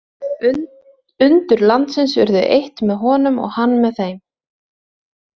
Undur landsins urðu eitt með honum og hann með þeim.